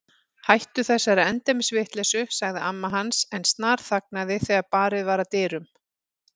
Hættu þessari endemis vitleysu sagði amma hans en snarþagnaði þegar barið var að dyrum.